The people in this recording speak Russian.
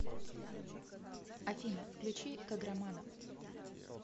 афина включи каграманов